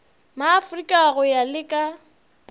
maafrika go ya le ka